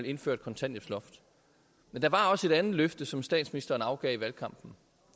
indføre et kontanthjælpsloft men der var også et andet løfte som statsministeren afgav i valgkampen